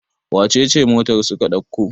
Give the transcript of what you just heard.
wacece motar suka dauka?